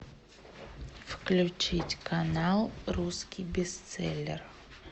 включить канал русский бестселлер